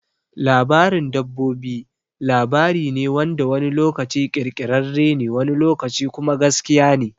Labarin dabbobi labari ne wanda wani lokaci ƙirƙirarre ne wani lokaci kuma gaskiya ne.